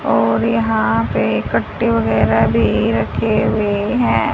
और यहाँ पे कट्टे वगैरा भी रखे हुए है।